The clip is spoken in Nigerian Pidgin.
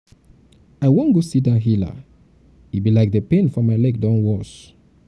i wan go see dat healer e be like the pain for my leg don worse.